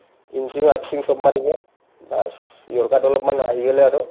in sing out sing চব মাৰিব baas yorker অলপমান আহি গ'লে আৰু